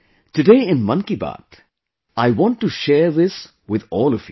Today in 'Mann Ki Baat', I want to share this with all of you